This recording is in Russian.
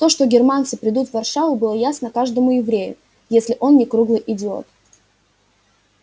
то что германцы придут в варшаву было ясно каждому еврею если он не круглый идиот